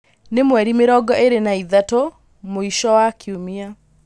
nī mweri mīrongo īri na ithatu mwīsho wa kīumia